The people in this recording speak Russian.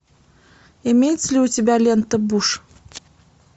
имеется ли у тебя лента буш